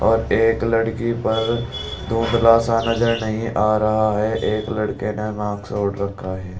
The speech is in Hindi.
और एक लड़की पर धुंधला सा नजर नहीं आ रहा है एक लड़के ने मास्क ओढ़ रखा है।